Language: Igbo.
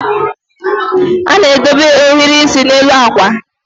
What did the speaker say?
a na-edobe ohiri isi n'elu akwa